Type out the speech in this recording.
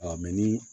ni